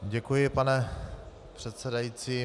Děkuji, pane předsedající.